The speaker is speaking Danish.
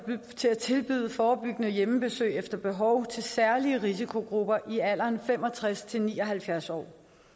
til at tilbyde forebyggende hjemmebesøg efter behov til særlige risikogrupper i alderen fem og tres til ni og halvfjerds år